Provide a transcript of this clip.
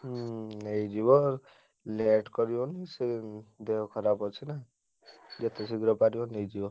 ହୁଁ ନେଇଯିବ late କରିବନି ବେଶୀ ଦେହ ଖରାପ ଅଛି ନା ଯେତେ ଶୀଘ୍ର ପାରିବ ନେଇଯିବ।